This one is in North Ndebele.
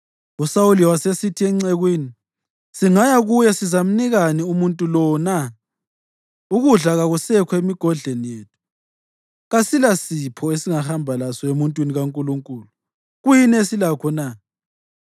USawuli wasesithi encekwini, “Singaya kuye, sizamnikani umuntu lowo na? Ukudla kakusekho emigodleni yethu. Kasilasipho esingahamba laso emuntwini kaNkulunkulu. Kuyini esilakho na?”